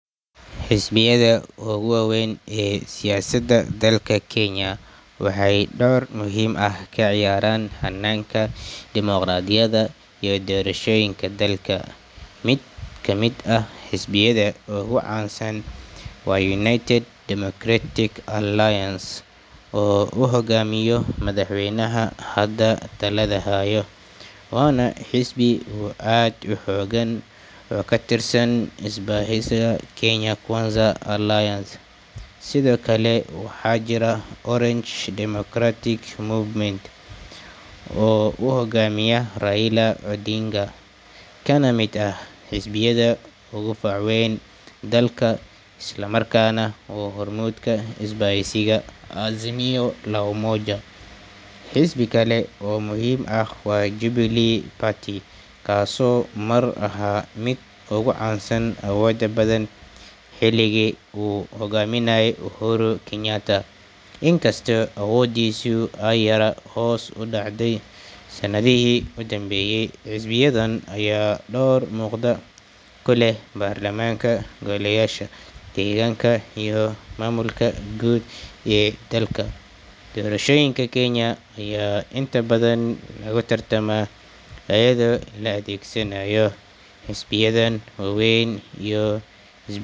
Xisbiyadha ugu waweyn ee siyasada dalka kenya waxey dor muhim ahh kaciyaran hananka dimoqradiyada iyo doroshoyinka dalka, midka mid ahh hisbiyadha ugu can san wa united democratic alliance oo uhogamiyo madhax weynaha hada taladha hayo, waxana hisbi oo add uxogan oo katirsan isbaheysa kenya alliance sidhikale waxa jira orange democratic movement oo uhogamiya raila odinga kanamid ahh xisbiyadha ugu fac weyn dalka islamarkana hurmudka isbaheysiya mwazimio la umoja xisbi kala o muhim ahh wa jubilee party kaso mar aha mid ugu cansan awoda badhan xiligi uu hogaminayay uhuru kenyataa, inkasto awodhisu ey yara hoss udacday sanadihi udanbeyay, xisbiyadhan aya dor muqda kuleh barlamanka goliyasha, deganka iyo mamulka gud ee dalka, doroshoyinka kenya ayaa inta badan logatartama ayadho ladhegsanayo xisbiyadhan waweyn iyo.